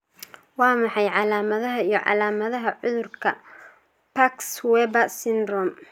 Waa maxay calaamadaha iyo calaamadaha cudurka Parkes Weber syndrome?